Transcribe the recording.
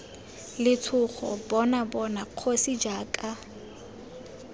letshogo bona bona kgosi jaaka